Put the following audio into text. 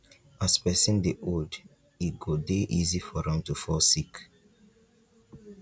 as person dey old e go dey easy for am to fall sick